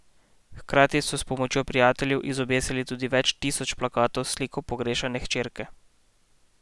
Hkrati so s pomočjo prijateljev izobesili tudi več tisoč plakatov s sliko pogrešane hčerke.